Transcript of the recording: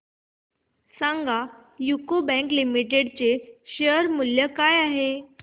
सांगा UCO Bank Limited च्या share चे मूल्य काय आहे